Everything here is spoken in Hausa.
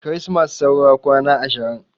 Kirismas saura kwana ashirin